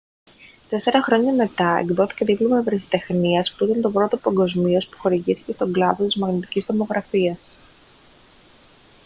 τέσσερα χρόνια μετά εκδόθηκε δίπλωμα ευρεσιτεχνίας που ήταν το πρώτο παγκοσμίως που χορηγήθηκε στον κλάδο της μαγνητικής τομογραφίας